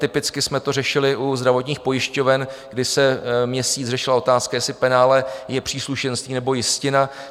Typicky jsme to řešili u zdravotních pojišťoven, kdy se měsíc řešila otázka, jestli penále je příslušenství nebo jistina.